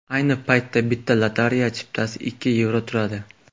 Ayni paytda bitta lotereya chiptasi ikki yevro turadi.